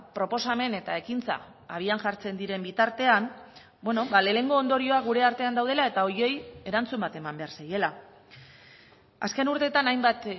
proposamen eta ekintza abian jartzen diren bitartean lehenengo ondorioa gure artean daudela eta horiei erantzun bat eman behar zaiela azken urteetan hainbat